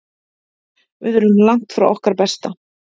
Við erum langt frá okkar besta.